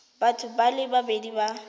batho ba le babedi ba